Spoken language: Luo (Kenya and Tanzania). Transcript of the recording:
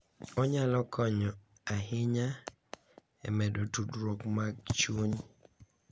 Onyalo konyo ahinya e medo tudruok mag chuny.